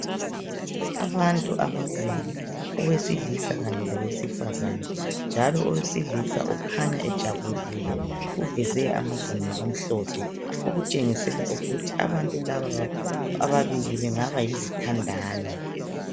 Abantu ababili owesilisa Kanye Lowesifazana njalo owesilisa ukhanya ejabulile uveze amazinyo amhlophe okutshengisela ukuthi abantu laba ababili bengaba yizithandani